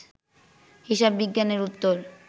হিসাববিজ্ঞানের উত্তর